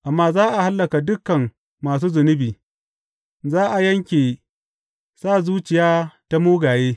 Amma za a hallaka dukan masu zunubi; za a yanke sa zuciya ta mugaye.